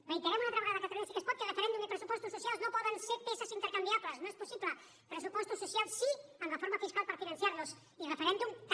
reiterem una altra vegada catalunya sí que es pot que referèndum i pressupostos socials no poden ser peces intercanviables no és possible pressupostos socials sí amb reforma fiscal per finançar los i referèndum també